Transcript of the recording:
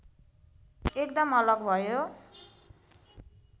एकदम अलग भयो